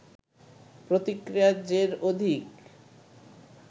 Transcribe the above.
প্রতিক্রিয়ার জের অধিক